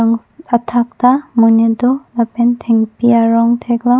athak ta monit do lapen thengpi arong thek long.